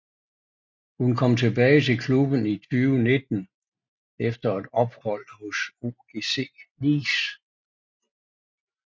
Hun kom tilbage til klubben i 2019 efter et ophold OGC Nice